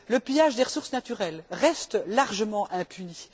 Le pillage des ressources naturelles reste largement impuni.